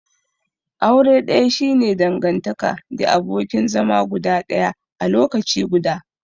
Aure daya shi ne dangantaka the abokin zama guda daya a lokaci guda.